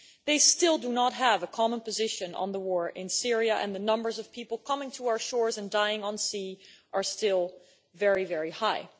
They still do not have a common position on the war in Syria, and the numbers of people coming to our shores and dying at sea are still very high.